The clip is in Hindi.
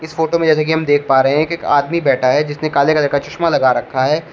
फोटो में जैसा कि हम देख पा रहे हैं कि एक आदमी बैठा है जिसने काले कलर का चश्मा लगा रखा है।